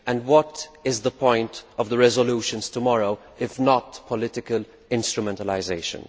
What is the point of the resolutions tomorrow, if not political instrumentalisation?